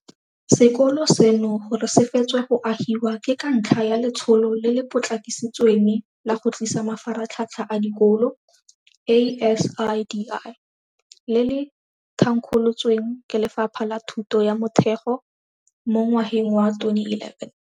Sekolo seno gore se fetswe go agiwa ke ka ntlha ya Letsholo le le Potlakisitsweng la go Tlisa Mafaratlhatlha a Dikolo ASIDI, le le thankgolotsweng ke Lefapha la Thuto ya Motheo mo ngwageng wa 2011.